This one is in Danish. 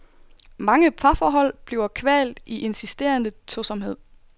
Mange parforhold bliver kvalt i insisterende tosomhed.